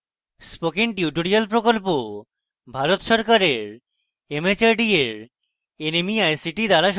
spoken tutorial project Bharat সরকারের mhrd এর nmeict দ্বারা সমর্থিত